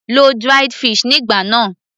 lo dried fish nígbà náà